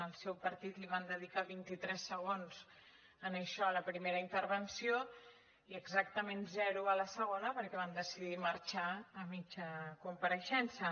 al seu partit li van dedicar vint i tres segons a això a la primera intervenció i exactament zero a la segona perquè van decidir marxar a mitja compareixença